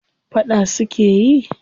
Faɗa suke yi?